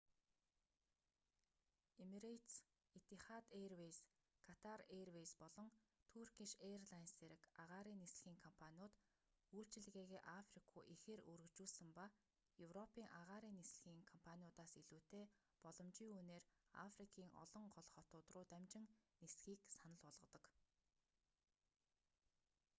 эмирэйтес этихад эйрвэйз катар эйрвэйз болон туркиш эйрлайнс зэрэг агаарын нислэгийн компаниуд үйлчилгээгээ африк руу ихээр өргөжүүлсэн ба европын агаарын нислэгийн компаниудаас илүүтэй боломжийн үнээр африкийн олон гол хотууд руу дамжин нисэхийг санал болгодог